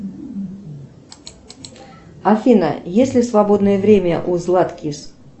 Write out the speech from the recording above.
афина есть ли свободное время у златкис